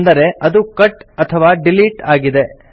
ಅಂದರೆ ಅದು ಕಟ್ ಅಥವಾ ಡಿಲೀಟ್ ಆಗಿದೆ